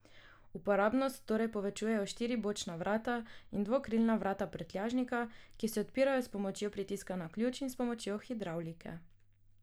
Uporabnost torej povečujejo štiri bočna vrata in dvokrilna vrata prtljažnika, ki se odpirajo s pomočjo pritiska na ključ in s pomočjo hidravlike.